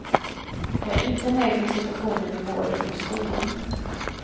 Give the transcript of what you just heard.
Jag är inte nöjd med situationen i vården och skolan.